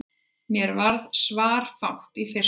Mér varð svarafátt í fyrstu.